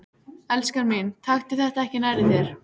Elskan mín, taktu þetta ekki nærri þér.